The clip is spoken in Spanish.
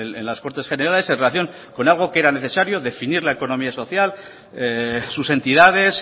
en las cortes generales en relación con algo que era necesario definir la economía social sus entidades